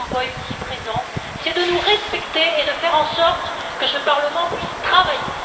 Van Rompuy, ici présents, c'est de nous respecter et de faire en sorte que ce Parlement puisse travailler.